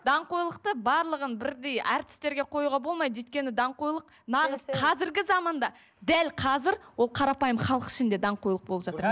даңғойлықты барлығын бірдей әртістерге қоюға болмайды өйткені даңғойлық нағыз қазіргі заманда дәл қазір ол қарапайым халық ішінде даңғойлық болып жатыр